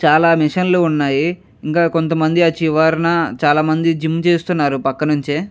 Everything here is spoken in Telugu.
చాలా మిషన్ లు ఉన్నాయి. ఇంకా కొంత మంది ఆ చివరనా చాలా మంది జిమ్ చేస్తున్నారు ఆ పక్క నుంచి.